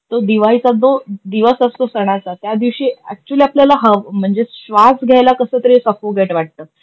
तो दिवाळीचा जो दिवस असतो सनाचा त्यादिवशी अक्चूली आपल्याला म्हणजे श्वास घ्यायला कस तरी सफोकेट वाटत,